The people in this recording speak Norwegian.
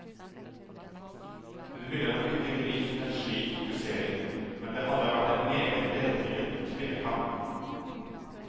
Hun ville nok ikke likt en slik fokusering, men det hadde vært en meget berettiget kvinnekamp.